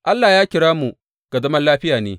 Allah ya kira mu ga zaman lafiya ne.